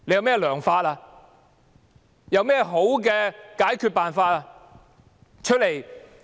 政府有何好的解決方法？